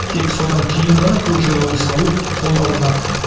тек содан кейін ғана көкжайлауды салу қолға алынады